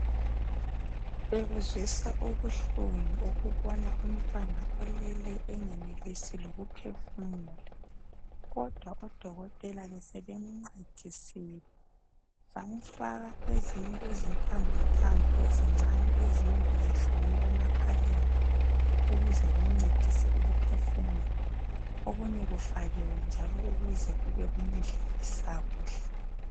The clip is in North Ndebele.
Bekuzwisa ubuhlungu ukubona umntwana olele engenelisi lokuphefumula kodwa odokotela besebemncedisile bamfaka ezinye izintambontambo ezincane ezinye bezihlonywe emakhaleni ukuze kumncedise ukuphefumula okunye kufakiwe njalo ukuze kube kumdlisa kuhle.